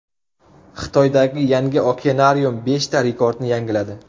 Xitoydagi yangi okeanarium beshta rekordni yangiladi.